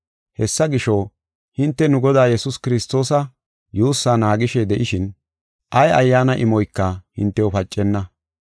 Hessa gisho, hinte nu Godaa Yesuus Kiristoosa yuussaa naagishe de7ishin, ay ayyaana imoyka hintew pacenna.